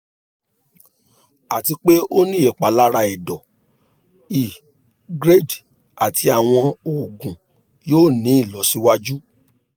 ati pe o ni ipalara ẹdọ i grade ati awọn oogun yoo ni ilọsiwaju